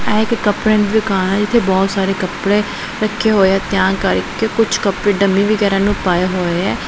ਇਹ ਇੱਕ ਕਪੜਿਆਂ ਦੀ ਦੁਕਾਨ ਹੈ ਜਿੱਥੇ ਬਹੁਤ ਸਾਰੇ ਕੱਪੜੇ ਰੱਖੇ ਹੋਏ ਹੈਂ ਤਿਆਂ ਕਰਕੇ ਕੁੱਛ ਕੱਪੜੇ ਡੰਮੀ ਵਗੈਰਾ ਨੂੰ ਪਾਏ ਹੋਏ ਹੈਂ।